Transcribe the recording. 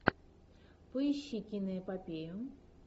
поищи киноэпопею